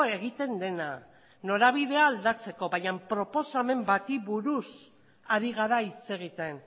egiten dena norabidea aldatzeko baina proposamen bati buruz ari gara hitz egiten